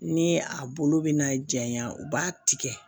Ni a bolo bɛ na janya u b'a tigɛ